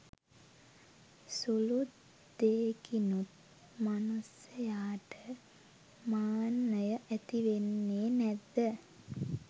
සුළු දේකිනුත් මනුස්සයාට මාන්නය ඇතිවෙන්නේ නැද්ද?